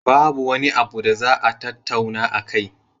Babu wani abu da za a tattauna akai.